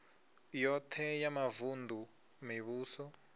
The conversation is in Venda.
yoṱhe ya mavun ḓu mivhuso